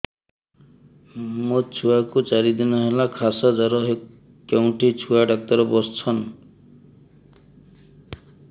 ମୋ ଛୁଆ କୁ ଚାରି ଦିନ ହେଲା ଖାସ ଜର କେଉଁଠି ଛୁଆ ଡାକ୍ତର ଵସ୍ଛନ୍